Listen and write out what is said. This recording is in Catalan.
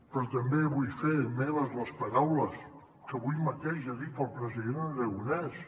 però també vull fer meves les paraules que avui mateix ha dit el president aragonès